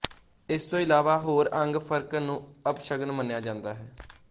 ਇਸ ਤੋਂ ਇਲਾਵਾ ਹੋਰ ਅੰਗ ਫਰਕਣ ਨੂੰ ਅਪਸ਼ਗਨ ਮੰਨਿਆ ਜਾਂਦਾ ਹੈ